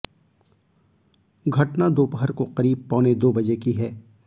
घटना दोपहर को करीब पौने दो बजे की है